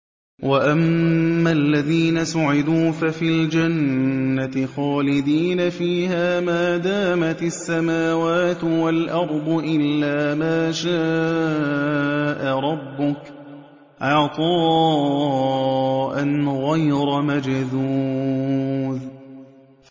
۞ وَأَمَّا الَّذِينَ سُعِدُوا فَفِي الْجَنَّةِ خَالِدِينَ فِيهَا مَا دَامَتِ السَّمَاوَاتُ وَالْأَرْضُ إِلَّا مَا شَاءَ رَبُّكَ ۖ عَطَاءً غَيْرَ مَجْذُوذٍ